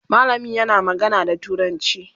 mallamin yana magana da turanci